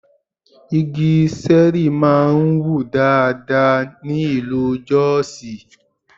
Igi Ṣẹ̀rí máa ń wù dáadáa ní ìlú Jọ́sìì.